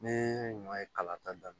Ne ɲɔ ye kala ta